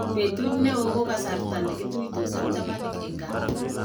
Betut ne oo ko kasarta ne kituisot ak chamanik eng kaa.